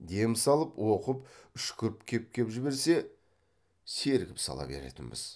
дем салып оқып үшкіріп кеп кеп жіберсе сергіп сала беретінбіз